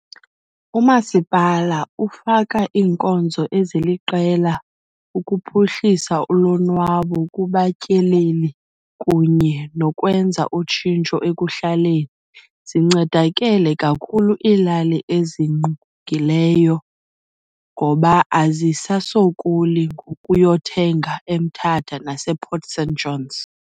Umasipala ufaka inkonzo eziliqela ukuphuhlisa ulonwabo kubatyeleli kunye nokwenza utshintsho ekuhlaleni. Zincedakele kakhulu ilali ezingqungileyo ngoba azisasokoli ngokuyothenga eMthatha nasePort St Johns.